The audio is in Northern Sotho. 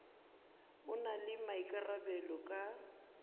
a na le maikarabelo ka